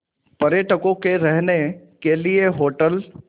पर्यटकों के रहने के लिए होटल